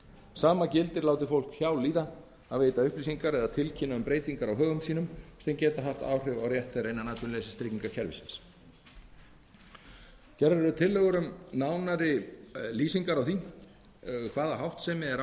sama gildir láti fólk hjá líða að veita upplýsingar eða tilkynna um breytingar á högum sínum sem geta haft áhrif á rétt þeirra innan atvinnuleysistryggingakerfisins gerðar eru tillögur um nánari lýsingar á því hvaða háttsemi er